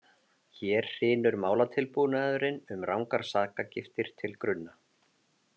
Hér hrynur málatilbúnaðurinn um rangar sakargiftir til grunna.